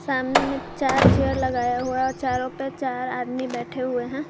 सामने में चार चेयर लगाया हुआ और चारों पे चार आदमी बैठे हुए हैं।